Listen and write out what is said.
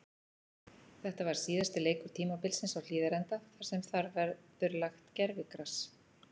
Þetta var síðasti leikur tímabilsins á Hlíðarenda þar sem þar verður lagt gervigras.